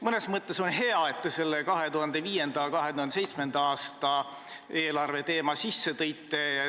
Mõnes mõttes on hea, et te 2005. ja 2007. aasta eelarve teema sisse tõite.